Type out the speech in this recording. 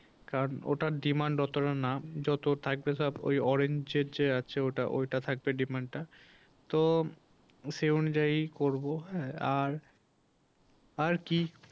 কারণ ওটার demand অতটা না যত থাকবে সব ওই orange এর যে আছে ওটা, ওটা থাকবে demand টা তো সেই অনুযায়ী করবো হ্যাঁ আর আর কি